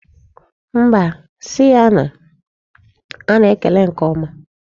Mba, si ya na a na-ekele nke ọma.